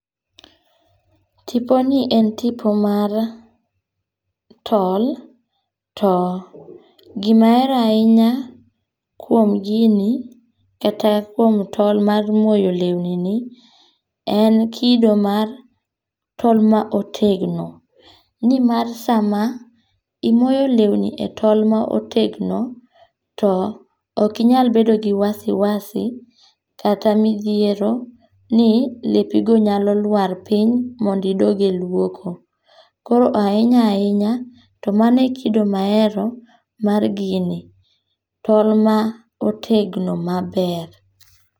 Tiponi en tipo mar tol. To gima ahero ahinya kuom gini, kata kuom tol moyo lewni ni, en kido mar tol ma otegno. Ni mar sama, imoyo lewni e tol ma otegno, to okinyal bedo gi wasiwasi, kata midhiero ni lepi go nyalo lwar piny, mondo idog e lwoko. Koro ahinya ahinya to mano e kido ma ahero mar gini. Tol ma otegno maber.